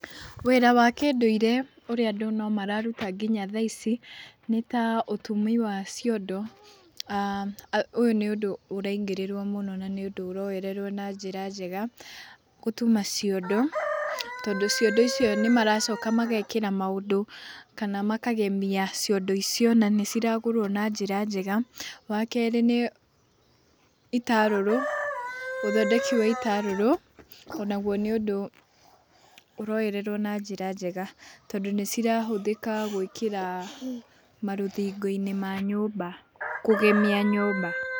Wĩra wa kĩndũire ũrĩa andũ nomararuta nginya thaa ici, nĩta ũtumi wa ciondo, ahm ũyũ nĩ ũndũ ũraingĩrĩrwo mũno na nĩ ũndũ ũroererwo na njĩra njega gũtuma ciondo, tondũ ciondo icio nĩmaracoka magekĩra maũndũ kana makagemia ciondo icio na nĩciragũrwo na njĩra njega. Wakerĩ nĩ itarũrũ, ũthondeki wa itarũrũ, onaguo nĩ ũndũ ũroererwo na njĩra njega, tondũ nĩcirahũthĩka gwĩkĩra marũthingo-inĩ ma nyũmba kũgemia nyũmba.